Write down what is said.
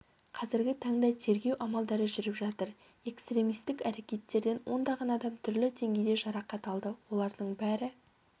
қазіргі таңда тергеу амалдары жүріп жатыр экстремистік әрекеттерден ондаған адам түрлі деңгейде жарақат алды олардың бәрі